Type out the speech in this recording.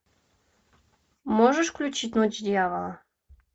можешь включить ночь дьявола